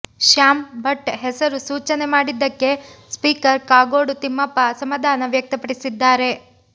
ಶ್ಯಾಂ ಭಟ್ ಹೆಸರು ಸೂಚನೆ ಮಾಡಿದ್ದಕ್ಕೆ ಸ್ಪೀಕರ್ ಕಾಗೋಡು ತಿಮ್ಮಪ್ಪ ಅಸಮಾಧಾನ ವ್ಯಕ್ತಪಡಿಸಿದ್ದಾರೆ